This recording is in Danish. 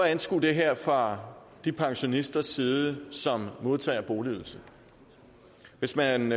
at anskue det her fra de pensionisters side som modtager boligydelse hvis man